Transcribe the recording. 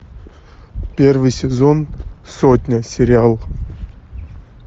первый сезон сотня сериал